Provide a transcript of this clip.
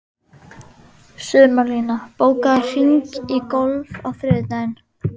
Sumarlína, bókaðu hring í golf á þriðjudaginn.